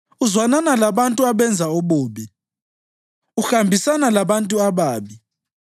Uzwanana labantu abenza ububi; uhambisana labantu ababi.